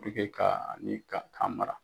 Puruke ka ni Ka k'a mara.